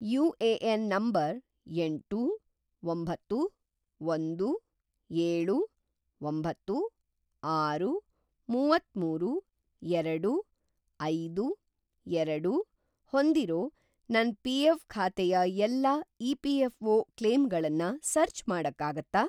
UAN. number ಎಂಟು, ಒಂಬತ್ತು, ಒಂದು, ಏಳು, ಒಂಬತ್ತು, ಆರು, ಮುವತ್ತಮೂರು, ಎರಡು, ಐದು, ಎರಡು ಹೊಂದಿರೋ ನನ್‌ ಪಿ.ಎಫ಼್. ಖಾತೆಯ ಎಲ್ಲಾ ಇ.ಪಿ.ಎಫ಼್.ಒ. ಕ್ಲೇಮ್‌ಗಳನ್ನ ಸರ್ಚ್ ಮಾಡಕ್ಕಾಗತ್ತಾ?